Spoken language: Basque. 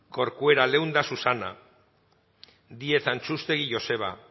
corcuera leunda susana díez antxustegi joseba